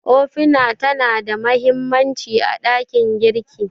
Ofina tana da mahimmanci a ɗakin girki.